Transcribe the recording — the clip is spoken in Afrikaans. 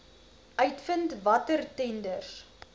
uitvind watter tenders